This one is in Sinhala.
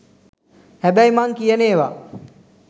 හැබැයි මං කියන ඒව